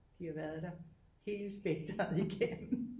De har været der hele spektret igennem